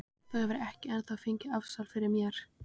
Þú hefur ekki ennþá fengið afsal fyrir mér.